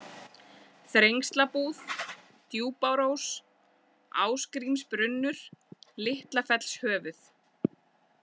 Þrengslabúð, Djúpárós, Ásgrímsbrunnur, Litlafellshöfuð